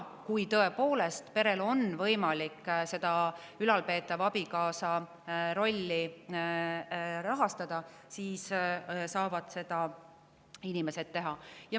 Kui perel on tõepoolest võimalik ülalpeetava abikaasa rolli rahastada, siis saavad inimesed seda teha.